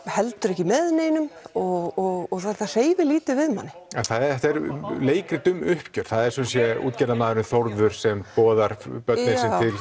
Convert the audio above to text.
heldur ekki með neinum og þetta hreyfir lítið við manni þetta er leikrit um uppgjör það er sumsé útgerðarmaðurinn Þórður sem boðar börnin